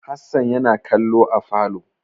Hassan yana kallo a falo.